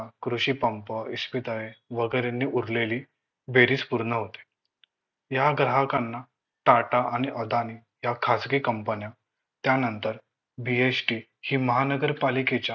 कृषी पंप, इस्पितळे वगैरेंनी उरलेली बेरीज पूर्ण होते या ग्राहकांना टाटा आणि अदानी या खासगी company न्या त्यानंतर BHT हि महानगरपालिकेच्या